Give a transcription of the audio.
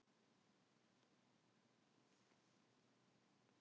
Hvalfjarðargöngin lokuð næstu nætur